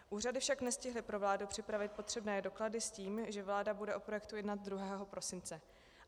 Úřady však nestihly pro vládu připravit potřebné doklady s tím, že vláda bude o projektu jednat 2. prosince.